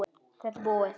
Þetta er búið